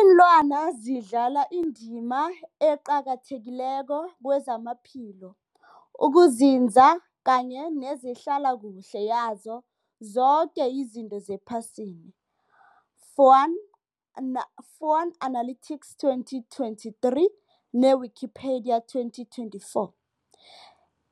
Ilwana zidlala indima eqakathekileko kezamaphilo, ukunzinza kanye nezehlala kuhle yazo zoke izinto ephasini, Fuanana Fuanalytics 2023 ne-Wikipedia 2024.